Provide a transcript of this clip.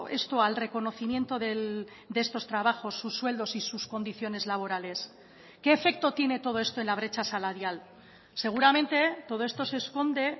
esto al reconocimiento de estos trabajos sus sueldos y sus condiciones laborales qué efecto tiene todo esto en la brecha salarial seguramente todo esto se esconde